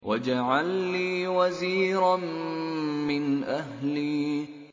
وَاجْعَل لِّي وَزِيرًا مِّنْ أَهْلِي